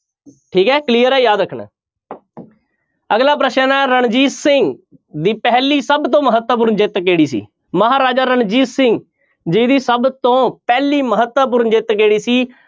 ਠੀਕ ਹੈ clear ਹੈ ਯਾਦ ਰੱਖਣਾ ਅਗਲਾ ਪ੍ਰਸ਼ਨ ਹੈ ਰਣਜੀਤ ਸਿੰਘ ਦੀ ਪਹਿਲੀ ਸਭ ਤੋਂ ਮਹੱਤਵਪੂਰਨ ਜਿੱਤ ਕਿਹੜੀ ਸੀ? ਮਹਾਰਾਜਾ ਰਣਜੀਤ ਸਿੰਘ ਜੀ ਦੀ ਸਭ ਤੋਂ ਪਹਿਲੀ ਮਹੱਤਵਪੂਰਨ ਜਿੱਤ ਕਿਹੜੀ ਸੀ?